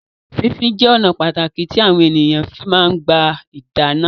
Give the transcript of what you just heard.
Fífín jẹ ọnà pàtàkì tí àwọn èèyàn fi máa ń gbà dáná